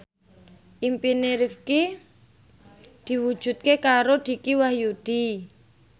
impine Rifqi diwujudke karo Dicky Wahyudi